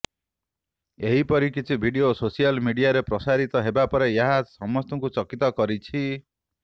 ଏହିପରି କିଛି video social ମିଡ଼ିଆରେ ପ୍ରସାରିତ ହେବାପରେ ଏହା ସମସ୍ତଙ୍କୁ ଚକିତ କରିଛି